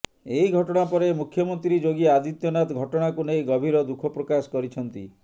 ଏହି ଘଟଣା ପରେ ମୁଖ୍ୟମନ୍ତ୍ରୀ ଯୋଗୀ ଆଦିତ୍ୟନାଥ ଘଟଣାକୁ ନେଇ ଗଭୀର ଦୁଃଖ ପ୍ରକାଶ କରିଛନ୍ତି